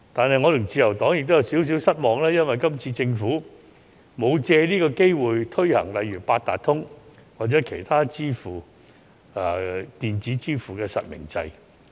不過，我和自由黨亦有少許失望，因為政府未有藉今次機會推行八達通或其他電子支付方式的實名制。